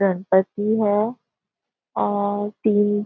गणपति है और तीन --